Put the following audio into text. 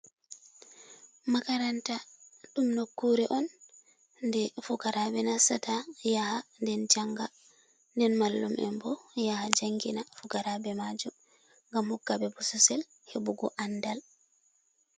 Makaranta, ɗum nokkure on nde fukaraɓe nastata yaha den janga, nden mallum en bo yaha jangina fukaraɓe majum, ngam hokkaɓe bososel heɓugo andal.